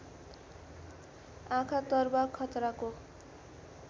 आँखा तरुवा खतराको